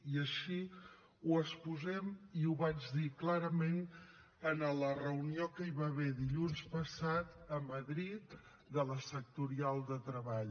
i així ho exposem i ho vaig dir clarament en la reunió que hi va haver dilluns passat a madrid de la sectorial de treball